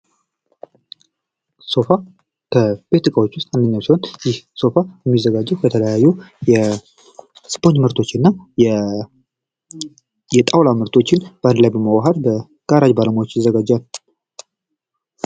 ሶፋ ከቤት ዕቃዎች ውስጥ አንደኛው ሲሆን ይህ ሶፋ የሚዘጋጀው ከተለያዩ የስፖርት ምርቶችና የጣውላ ምርቶችን አንድ ላይ በማዋሀድ በጋራዥ ባለሙያዎች ይዘጋጃል።